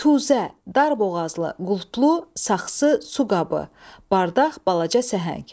Kuzə, darboğazlı, qulplu, saxsı su qabı, bardaq, balaca səhəng.